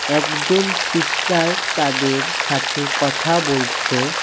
একজন সিস্টার তাদের সাথে কথা বলছে।